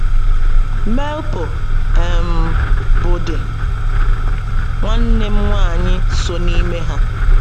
Melpo um, bụ́ di nwanne m nwanyị, so n’ime ha.